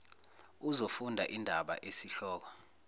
uzofunda indaba esihloko